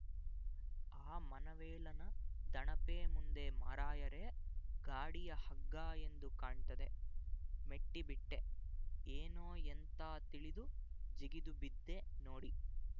ಆ ಮನವೇಲನ ದಣಪೆ ಮುಂದೆ ಮಾರಾಯರೇ ಗಾಡಿಯ ಹಗ್ಗ ಎಂದು ಕಾಣ್ತದೆ ಮೆಟ್ಟಿಬಿಟ್ಟೆ ಏನೋ ಎಂತ ತಿಳಿದು ಜಿಗಿದುಬಿದ್ದೆ ನೋಡಿ